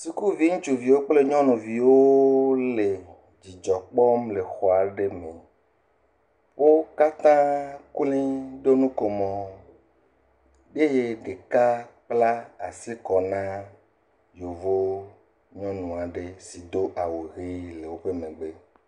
Sukuvi nyɔnuviwo kple ŋutsuviwo le dzidzɔ kpɔ le exɔ aɖe me. Wo kata kloe wo ɖo nuko mo eye ɖeka kpla asi kɔ na yevu nyɔnu aɖe si do awu le woƒe megbe.